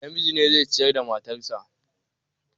Namiji ne zai ciyar da matan shi.